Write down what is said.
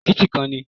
Òkìtì ìkan ni.